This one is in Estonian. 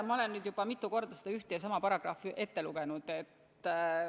Ma olen mitu korda ühte ja sama paragrahvi ette lugenud.